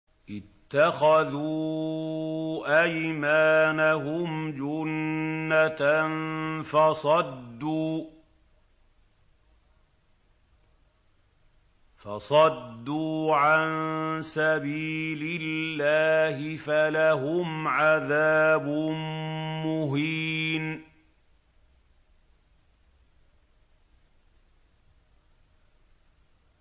اتَّخَذُوا أَيْمَانَهُمْ جُنَّةً فَصَدُّوا عَن سَبِيلِ اللَّهِ فَلَهُمْ عَذَابٌ مُّهِينٌ